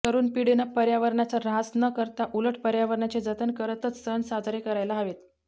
तरुण पिढीनं पर्यावरणाचा ऱ्हास न करता उलट पर्यावरणाचे जतन करतच सण साजरे करायला हवेत